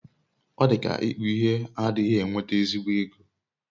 odika ikpu ihe adighi enweta ezigbo ego